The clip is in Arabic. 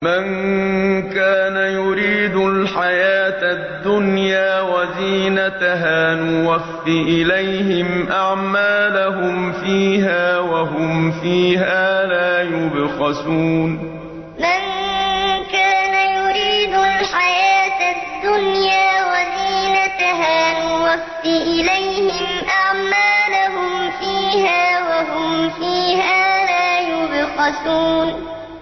مَن كَانَ يُرِيدُ الْحَيَاةَ الدُّنْيَا وَزِينَتَهَا نُوَفِّ إِلَيْهِمْ أَعْمَالَهُمْ فِيهَا وَهُمْ فِيهَا لَا يُبْخَسُونَ مَن كَانَ يُرِيدُ الْحَيَاةَ الدُّنْيَا وَزِينَتَهَا نُوَفِّ إِلَيْهِمْ أَعْمَالَهُمْ فِيهَا وَهُمْ فِيهَا لَا يُبْخَسُونَ